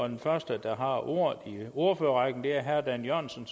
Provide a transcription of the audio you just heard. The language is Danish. den første der har ordet i ordførerrækken er herre dan jørgensen